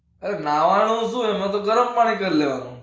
અરે નાવનું શું, એમાં તો ગરમ પાણી કર લેવાનું.